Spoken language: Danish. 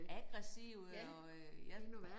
Aggressive og øh ja